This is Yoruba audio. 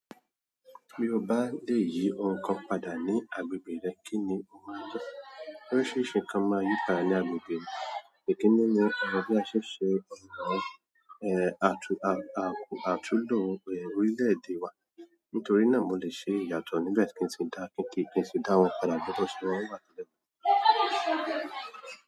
Bí o bá le yí ohun kan padà ní agbègbè rẹ, kí ni o máa ń jẹ? Oríṣiríṣi nǹkan máa ń yí padà ní agbègbè mi, ekení ní bí a ṣe ń ṣe ọnà àtú lo orílẹ̀-èdè wa. Nítorí náà mo lè ṣe ìyàtọ̀ níbẹ̀ kíi sii dá wọn padà gẹ́gẹ́ tí wọn wà tẹ́lẹ̀.